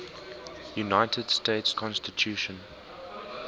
united states constitution